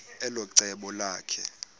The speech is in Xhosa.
elo cebo lakhe